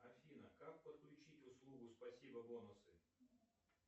афина как подключить услугу спасибо бонусы